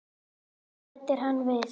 Svo bætti hann við